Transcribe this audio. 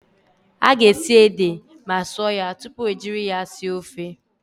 A ga-esi ede ma sụọ ya tupu ejiri ya sie ofe.